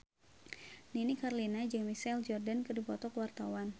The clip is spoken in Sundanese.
Nini Carlina jeung Michael Jordan keur dipoto ku wartawan